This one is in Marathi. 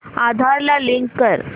आधार ला लिंक कर